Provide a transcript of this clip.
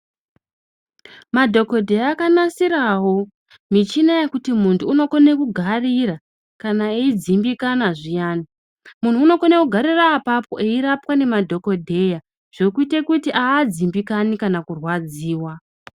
Madhokodheya akanasirawo michina yekuti muntu unokone kugarira kana eyidzimbikana zviyani. Munhu unokone kugarira apapo eirapwa nemadhokodheya zvekuite kuti haadzimbikani kana kurwadziwa.